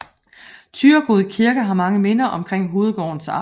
Thyregod Kirke har mange minder omkring hovedgårdens ejere